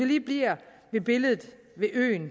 lige blive ved billedet af øen